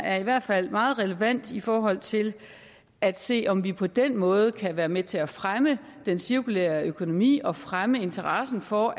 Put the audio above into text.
er i hvert fald meget relevant i forhold til at se på om vi på den måde kan være med til at fremme den cirkulære økonomi og fremme interessen for